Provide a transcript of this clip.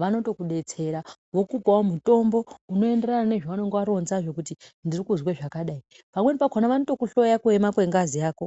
vanotokudetsera vokupawo mutombo unoenderana nezvaunenge waronzazvo kuti ndirikuzwe zvakadai, pamweni pakona vanotokuhloya kuema kwengazi yako.